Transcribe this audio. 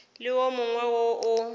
le wo mongwe wo o